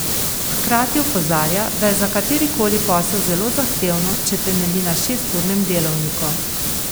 Hkrati opozarja, da je za katerikoli posel zelo zahtevno, če temelji na šesturnem delovniku.